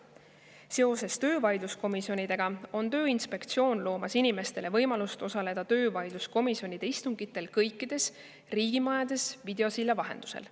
Seoses töövaidluskomisjonidega loob Tööinspektsioon inimestele võimaluse osaleda töövaidluskomisjonide istungitel kõikides riigimajades videosilla vahendusel.